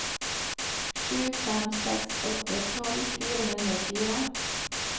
sju fem seks åtte tolv fire hundre og fire